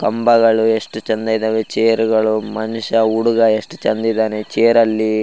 ಕಂಬಗಳು ಎಷ್ಟು ಚೆಂದ ಇದಾವೆ ಚೇರ್ ಗಳು ಮನುಷ್ಯ ಹುಡುಗ ಎಷ್ಟು ಚೆಂದ ಇದಾನೆ ಚೇರ್ ಅಲ್ಲಿ --